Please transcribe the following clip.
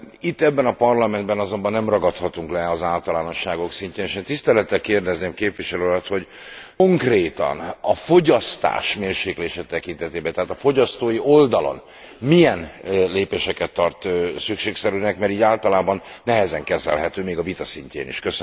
Itt, ebben a Parlamentben azonban nem ragadhatunk le az általánosságok szintjén, és én tisztelettel kérdezném képviselő urat, hogy konkrétan a fogyasztás mérséklése tekintetében, tehát a fogyasztói oldalon milyen lépéseket tart szükségszerűnek, mert így általában nehezen kezelhető még a vita szintjén is.